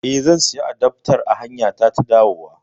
Eh, zan siyo adaftar a hanyata ta dawowa